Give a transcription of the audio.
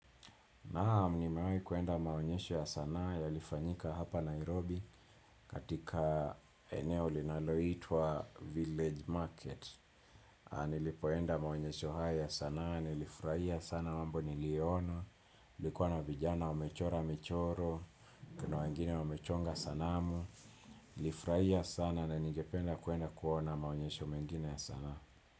Naam nimewahi kuenda maonyesho ya sanaa yalifanyika hapa Nairobi katika eneo linaloitwa Village Market. Nilipoenda maonyesho haya ya sanaa, nilifurahia sana mambo niliyoona, kulikuwa na vijana wamechora michoro, kuna wengine wamechonga sanamu. Nilifurahia sana na ningependa kuenda kuona maonyesho mengine ya sanaa.